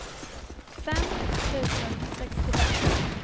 fem tusen sextiofem